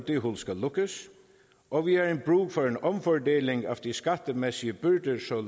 det hul skal lukkes og vi har brug for en omfordeling af de skattemæssige byrder så